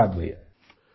شکریہ بھیا